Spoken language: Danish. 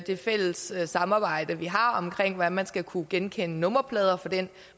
det fælles samarbejde vi har omkring hvordan man skal kunne genkende nummerplader og for den